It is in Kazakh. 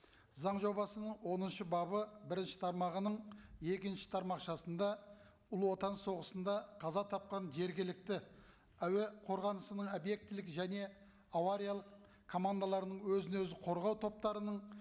заң жобасының оныншы бабы бірінші тармағының екінші тармақшасында ұлы отан соғысында қаза тапқан жергілікті әуе қорғанысының объектілік және авариялық командаларының өзін өзі қорғау топтарының